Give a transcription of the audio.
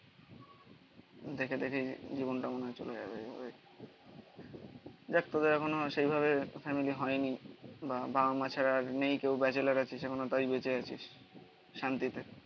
দেখে দেখে জীবনটা মনে হয় চলে যাবে দেখ তোদের এখনো সেইভাবে ফ্যামিলি হয়নি বা বাবা মা ছাড়া আর নেই কেউ ব্যাচেলার আছিস এখনো তাই বেঁচে আছিস শান্তিতে